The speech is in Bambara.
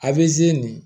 A bɛ ze nin